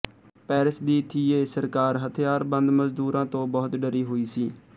Paris ਦੀ ਥੀਯੇ ਸਰਕਾਰ ਹਥਿਆਰਬੰਦ ਮਜ਼ਦੂਰਾਂ ਤੋਂ ਬਹੁਤ ਡਰੀ ਹੋਈ ਸੀ